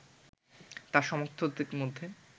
তার সমর্থকদের মধ্যে